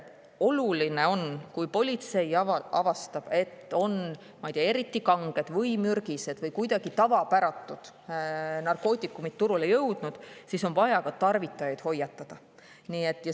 Oluline on, et kui politsei avastab, et on, ma ei tea, eriti kanged või mürgised või kuidagi tavapäratud narkootikumid turule jõudnud, siis tarvitajaid ka hoiatataks.